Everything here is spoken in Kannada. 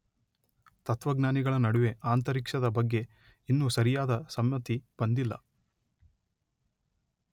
ತತ್ವಜ್ಞಾನಿಗಳ ನಡುವೆ ಅಂತರಿಕ್ಷದ ಬಗ್ಗೆ ಇನ್ನು ಸರಿಯಾದ ಸಮ್ಮತಿ ಬಂದಿಲ್ಲ.